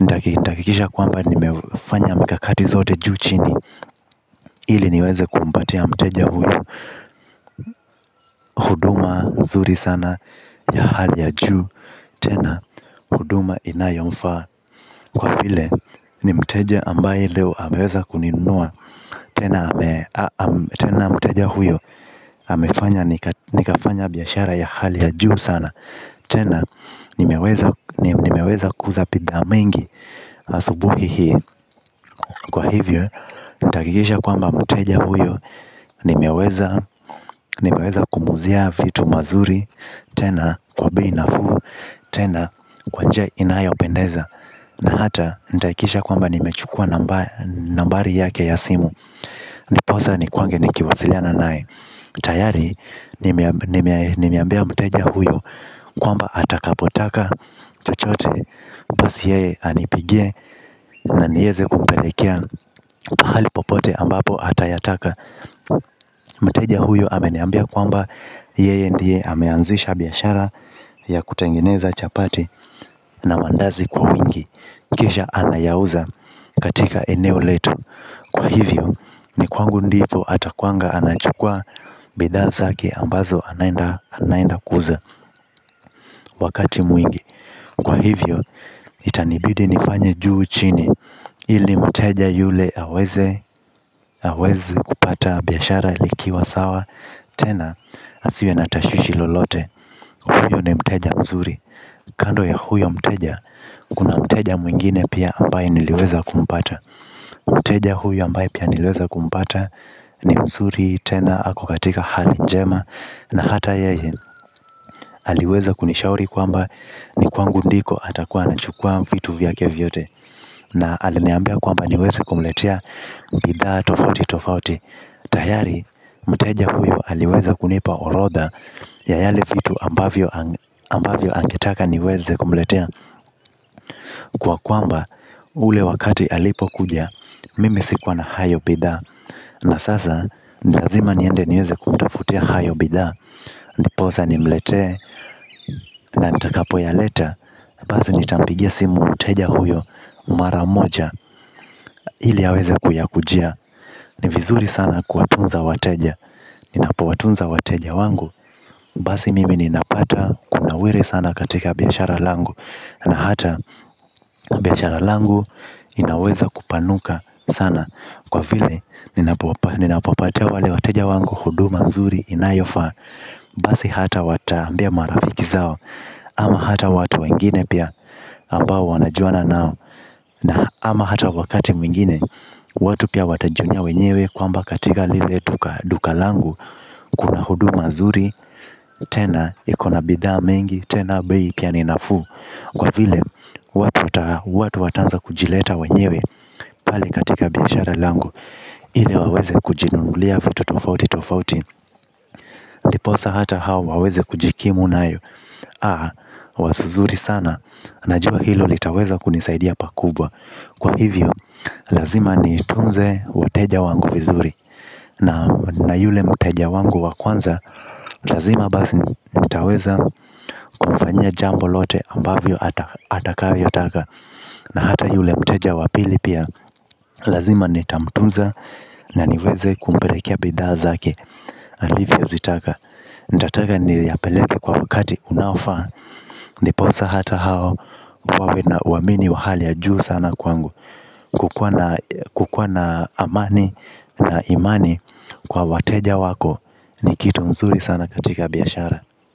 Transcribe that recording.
ndakitakisha kwamba nimefanya mikakati zote juu chini. Hili niweze kumpatia mteja huyo huduma mzuri sana ya hali ya juu. Tena huduma inayomfaa kwa file ni mteja ambaye leo hameweza kuninua tena mteja huyo amefanya nikafanya biashara ya hali ya juu sana. Tena nimeweza kuuza pidhaa mengi asubuhi hii. Kwa hivyo nitakikisha kwamba mteja huyo nimeweza kumuzia vitu mazuri tena kwa bei nafuu tena kwa njia inayopendeza. Na hata nitaakikisha kwamba nimechukua nambari yake ya simu. Ndiposa nikuange nikiwasiliana nai. Tayari nimeambia mteja huyo kwamba atakapo taka chochote basi yeye anipigie. Na nieze kumpelekea pahalipopote ambapo atayataka. Mteja huyo ameniambia kwamba yeye ndiye ameanzisha biashara ya kutengineza chapati na mandazi kwa wingi. Kisha anayauza katika eneo letu. Kwa hivyo ni kwangu ndipo atakuanga anachukua bidha zaki ambazo anayenda kuuza wakati mwingi. Kwa hivyo itanibidi nifanye juu chini. Ili mteja yule aweze kupata biashara likiwa sawa. Tena asiwe natashushi lolote. Huyo ni mteja mzuri. Kando ya huyo mteja, kuna mteja mwingine pia ambaye niliweza kumpata. Mteja huyu ambaye pia niliweza kumpata. Ni msuri, tena, ako katika hali njema. Na hata yeye, aliweza kunishauri kwamba ni kwangu ndiko atakuwa na chukua vitu vyake vyote. Na aliniambia kwamba niweze kumletea bidhaa tofauti tofauti. Tayari, mteja huyo aliweza kunipa orodha ya yale vitu ambavyo nagetaka niweze kumletea kwa kwamba ule wakati alipo kuja. Mimi sikuwa na hayo bidhaa. Na sasa nilazima niende niweze kumtafutia hayo bidha. Ndiposa nimletea na nitakapo ya leta. Bazi nitampigia simu mteja huyo maramoja ili aweze kuyakujia. Ni vizuri sana kuatunza wateja. Ninapo watunza wateja wangu. Basi mimi ninapata kuna wele sana katika biashara langu. Na hata biashara langu inaweza kupanuka sana. Kwa vile ninapopatia wale wateja wangu hudu manzuri inayofa. Basi hata wata ambia marafiki zao ama hata watu wengine pia ambao wanajuana nao. Na ama hata wakati mwingine. Watu pia watajionea wenyewe kwamba katika lile duka langu. Kuna huduma zuri, tena ikona bidhaa mengi, tena bei pia ninafu. Kwa vile, watu wataanza kujileta wenyewe pali katika biashara langu. Ile waweze kujinungulia vitu tofauti tofauti ndiposa hata hao waweze kujikimu na yu. Haa, waso zuri sana. Najua hilo li taweza kunisaidia pakubwa. Kwa hivyo, lazima ni tunze wateja wangu vizuri na yule mteja wangu wa kwanza lazima basi nitaweza kumfayia jambo lote atakalo taka. Na hata yule mteja wapili pia. Lazima nitamtunza na niweze kumpelekea bidhaa zaki. Alivyo zitaka. Nitataka ni yapeleke kwa wakati unaofaa. Ndiponsa hata hao. Kwawe na uamini wahali ya juu sana kwangu. Kukuwa na amani na imani. Kwa wateja wako ni kitu mzuri sana katika biyashara.